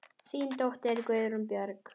Þín dóttir, Guðrún Björg.